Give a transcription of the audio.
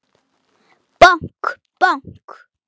Bank, bank.